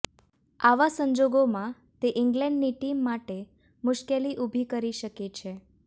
આવા સંજોગોમાં તે ઇંગ્લેન્ડની ટીમ માટે મુશ્કેલી ઉભી કરી શકે છે